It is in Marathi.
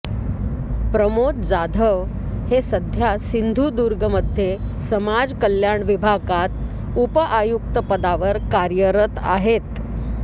प्रमोद जाधव हे सध्या सिंधूदूर्गमध्ये समाजकल्याण विभागात उपआयुक्त पदावर कार्यरत आहेत